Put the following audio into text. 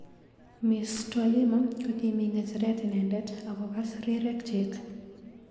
Ms Twalima kokimi ngecheret inendet ak kokas rirek chik.